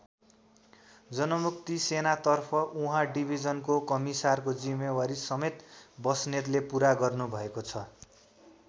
जनमुक्ति सेनातर्फ उहाँ डिभिजनको कमिसारको जिम्मेवारी समेत बस्नेतले पुरा गर्नुभएको छ।